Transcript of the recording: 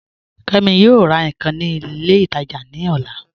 Kẹmi yọọ rà nkan ni ilẹ̀ itaajà ni ọ̀là